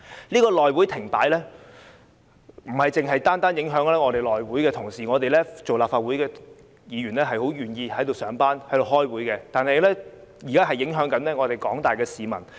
內會停擺，不單影響內會同事，我們作為立法會議員，很願意在此上班和開會，但現在也影響到廣大市民。